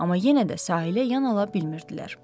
Amma yenə də sahilə yan ala bilmirdilər.